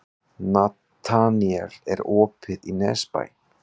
Nataníel, er opið í Nesbæ?